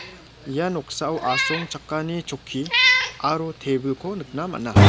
ia noksao asongchakani chokki aro table-ko nikna man·a.